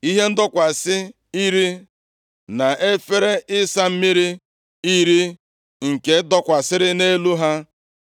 Ihe ndọkwasị iri na efere ịsa mmiri iri nke dọkwasịrị nʼelu ha;